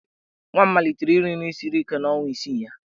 Nwa m malitere iri nri siri ike n'ọnwa isii ya.